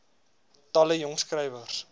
talle jong skrywers